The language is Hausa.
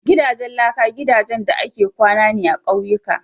Gidajen laka gidajen da ake kwana ne a ƙauyuka.